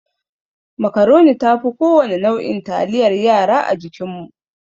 Macroni ta fi kowane nau'in taliyar yara a jikinmu.